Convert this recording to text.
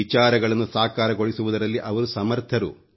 ವಿಚಾರಗಳನ್ನು ಸಾಕಾರಗೊಳಿಸುವುದರಲ್ಲಿ ಅವರು ಸಮರ್ಥರು